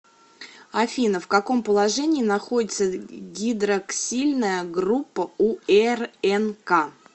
афина в каком положении находится гидроксильная группа у рнк